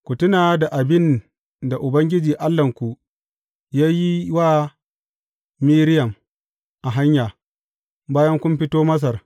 Ku tuna da abin da Ubangiji Allahnku ya yi wa Miriyam a hanya, bayan kun fito Masar.